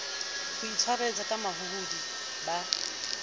ho itshwareletsa ka mahohodi ba